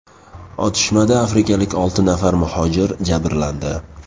Otishmada afrikalik olti nafar muhojir jabrlandi.